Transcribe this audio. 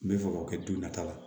N bɛ fɛ k'o kɛ don nata la